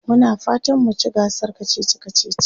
Muna fatan mu ci gasar kacici kacici.